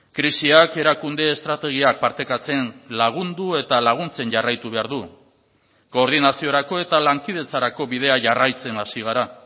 krisiak erakunde estrategiak partekatzen lagundu eta laguntzen jarraitu behar du koordinaziorako eta lankidetzarako bidea jarraitzen hasi gara